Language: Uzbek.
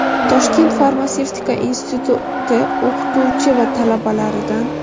Toshkent farmatsevtika instituti o‘qituvchi va talabalaridan.